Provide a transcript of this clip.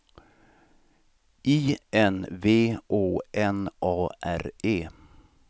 I N V Å N A R E